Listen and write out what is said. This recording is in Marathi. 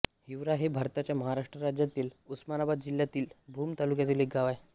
हिवरा हे भारताच्या महाराष्ट्र राज्यातील उस्मानाबाद जिल्ह्यातील भूम तालुक्यातील एक गाव आहे